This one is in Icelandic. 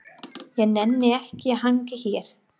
Ég nenni ekki að hanga hér.